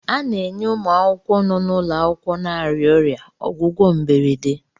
A na-enye ụmụ akwụkwọ nọ n'ụlọ akwụkwọ na-arịa ọrịa ọgwụgwọ mberede.